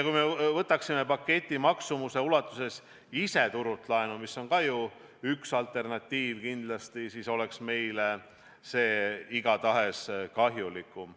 Kui võtaksime paketi maksumuse ulatuses ise turult laenu, mis on ju samuti üks alternatiiv, siis oleks see meie jaoks igatahes kahjulikum.